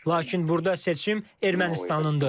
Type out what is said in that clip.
Lakin burda seçim Ermənistanındır.